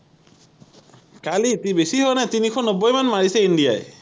কালি তি বেছি হোৱা নাই তিনিশ নব্বৈ মান মাৰিছে ইন্ডিয়া ই